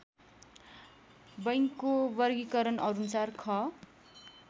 बैङ्कको वर्गिकरणअनुसार ख